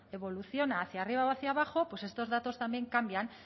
evoluciona hacia arriba o hacia abajo pues estos datos también cambian